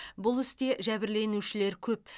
бұл істе жәбірленушілер көп